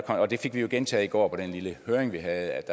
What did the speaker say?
og det fik vi gentaget i går på den lille høring vi havde